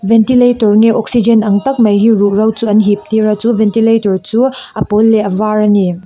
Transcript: ventilator nge oxygen ang tak mai hi ruhro chu an hip tir a chu ventilator chu a pawl leh a var ani.